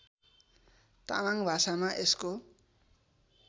तामाङ भाषामा यसको